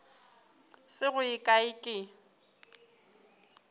se go ye kae ke